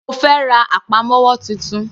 Mo fẹ́ ra àpamọ́wọ́ titun.